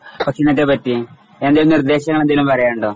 പറ്റിയും എന്തെങ്കിലും നിർദ്ദേശം എന്തേലും പറയാനുണ്ടോ?